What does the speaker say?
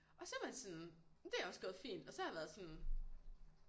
Og så var det sådan men det er også gået fint og så har jeg været sådan